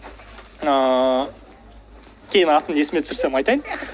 ыыы кейін атын есіме түсірсем айтайын